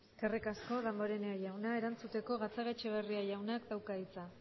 eskerrik asko damporenea jauna erantzuteko gatzagaetxebarria jaunak dauka hitza